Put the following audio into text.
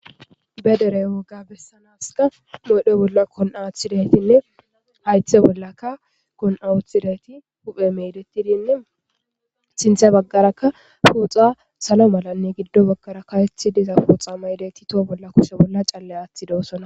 Badere woga qodhe bolla ku'a athidinee hayithe bollaka kun'a wothizays betes hupheya medetidinee sinitha bagaraka salo malane gido bagaraka karethi dizaysa ma'idosona